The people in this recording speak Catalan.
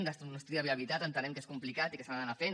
fer un estudi de viabilitat entenem que és complicat i que s’ha d’anar fent